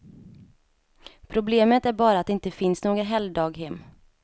Problemet är bara att det inte finns några helgdaghem.